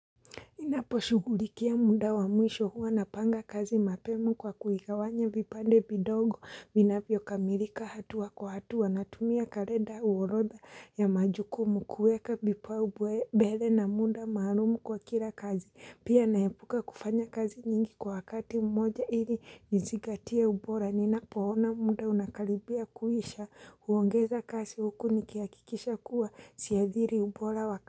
Ninaposhugulikia muda wa mwisho huwa napanga kazi mapema kwa kuigawanya vipande vidogo vinavyo kamilika hatua kwa hatua natumia kalenda uorodha ya majukumu kuweka vipaumbele na muda maalum kwa kila kazi. Pia naepuka kufanya kazi nyingi kwa wakati mmoja ili nizingatie ubora. Ninapoona muda unakalibia kuisha huongeza kazi huku nikihakikisha kuwa siadhiri ubora wa kazi.